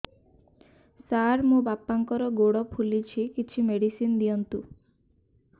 ସାର ମୋର ବାପାଙ୍କର ଗୋଡ ଫୁଲୁଛି କିଛି ମେଡିସିନ ଦିଅନ୍ତୁ